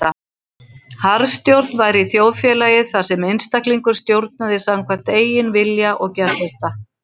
Harðstjórn væri í þjóðfélagi þar sem einstaklingur stjórnaði samkvæmt eigin vilja og geðþótta.